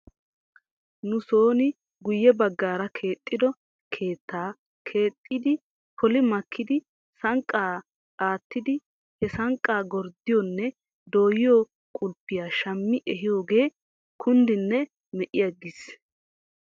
Nu son guyye bagaara keexxido keettaa keexxidi poli makkidi sanqqaa aattiidi he sanqqaa gurddiyhoonne dooyiyoo qulppiyaa shammi ehoogee kunddinne me'iigis.